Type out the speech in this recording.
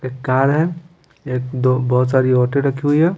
एक कार है एक दो बहुत सारी ओटो रखी हुई है।